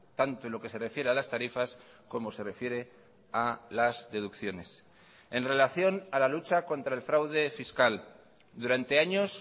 tanto en lo que se refiere a las tarifas como se refiere a las deducciones en relación a la lucha contra el fraude fiscal durante años